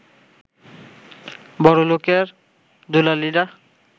বড়লোকের দুলালিরা